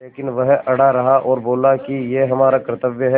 लेकिन वह अड़ा रहा और बोला कि यह हमारा कर्त्तव्य है